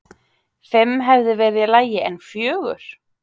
Fimm hefði verið í lagi, en fjögur?!?!?